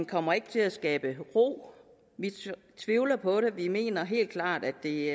kommer ikke til at skabe ro vi tvivler på det og vi mener helt klart at det